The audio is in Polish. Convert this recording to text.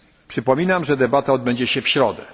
Przypominam, że debata odbędzie się w środę.